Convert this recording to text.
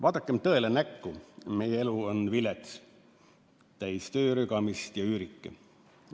Vaadakem tõele näkku: meie elu on vilets, täis töörügamist ja üürike.